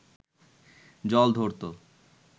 জল ধরত